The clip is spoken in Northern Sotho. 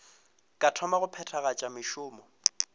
ka thoma go phethagatša mešomo